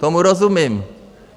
Tomu rozumím.